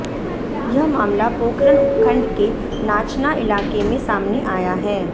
यह मामला पोखरण उपखंड के नाचना इलाके में सामने आया है